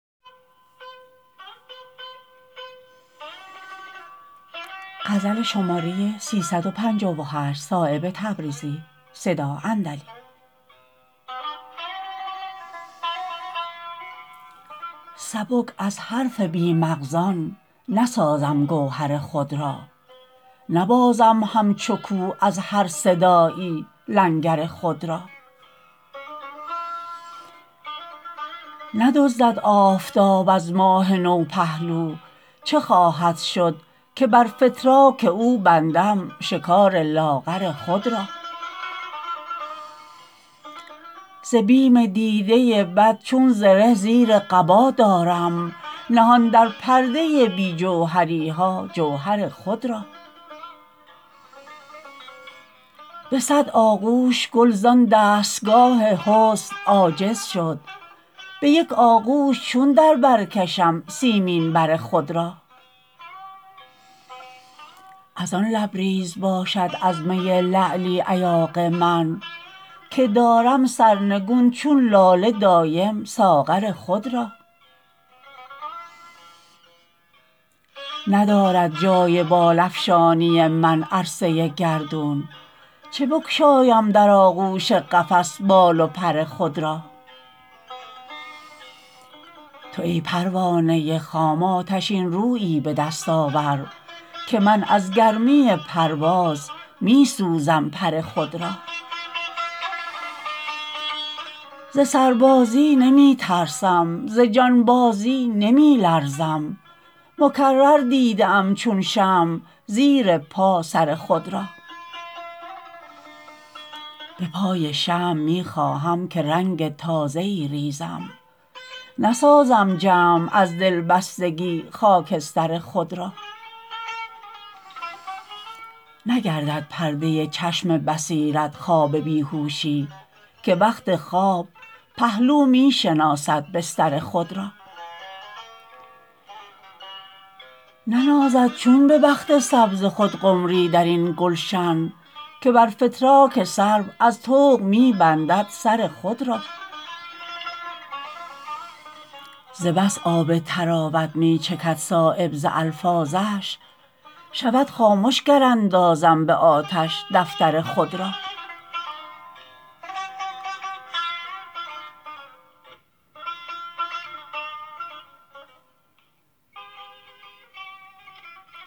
سبک از حرف بی مغزان نسازم گوهر خود را نبازم همچو کوه از هر صدایی لنگر خود را ندزدد آفتاب از ماه نو پهلو چه خواهد شد که بر فتراک او بندم شکار لاغر خود را ز بیم دیده بد چون زره زیر قبا دارم نهان در پرده بی جوهری ها جوهر خود را به صد آغوش گل زان دستگاه حسن عاجز شد به یک آغوش چون در برکشم سیمین بر خود را ازان لبریز باشد از می لعلی ایاغ من که دارم سرنگون چون لاله دایم ساغر خود را ندارد جای بال افشانی من عرصه گردون چه بگشایم در آغوش قفس بال و پر خود را تو ای پروانه خام آتشین رویی به دست آور که من از گرمی پرواز می سوزم پر خود را ز سربازی نمی ترسم ز جانبازی نمی لرزم مکرر دیده ام چون شمع زیر پا سر خود را به پای شمع می خواهم که رنگ تازه ای ریزم نسازم جمع از دلبستگی خاکستر خود را نگردد پرده چشم بصیرت خواب بیهوشی که وقت خواب پهلو می شناسد بستر خود را ننازد چون به بخت سبز خود قمری درین گلشن که بر فتراک سرو از طوق می بندد سر خود را ز بس آب طراوت می چکد صایب ز الفاظش شود خامش گر اندازم به آتش دفتر خود را